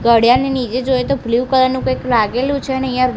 કડિયાની નીચે જોઈએ તો બ્લુ કલર નું કઈક લાગેલુ છે અને અહિયા--